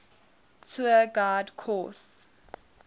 tour guide course